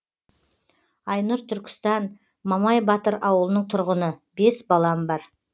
айнұр түркістан мамай батыр ауылының тұрғыны бес балам бар